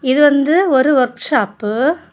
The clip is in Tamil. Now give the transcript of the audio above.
இது வந்து ஒரு ஒர்க் ஷாப்பு .